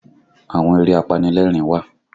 Àwọn eré apanilẹ́rìn wà